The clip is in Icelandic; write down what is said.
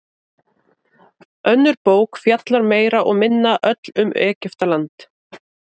Önnur bók fjallar meira og minna öll um Egyptaland.